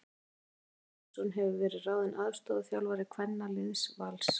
Andri Steinn Birgisson hefur verið ráðinn aðstoðarþjálfari kvennaliðs Vals.